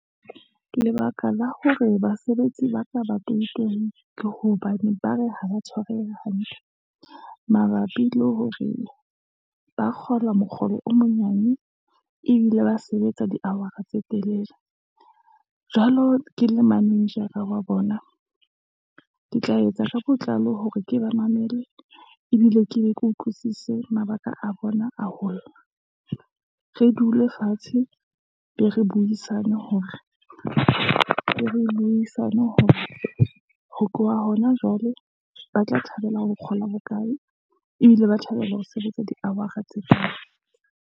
Lebaka la hore basebetsi ba ka ba toitoiye, ke hobane ba re ha ba tshwareha hantle, mabapi le hore ba kgola mokgolo o monyane, ebile ba sebetsa di-hour-a tse telele, jwalo ke le manejara wa bona, ke tla etsa ka botlalo hore ke ba mamele, ebile ke be ke utlwisise mabaka a bona a holla. Re dule fatshe, be re buisane hore ho tloha hona jwale, ba tla thabela ho kgola bokae, ebile ba thabela ho sebetsa di-hour-a tse kae.